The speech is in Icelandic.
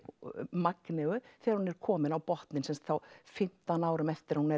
Magneu þegar hún er komin á botninn þá fimmtán árum eftir að hún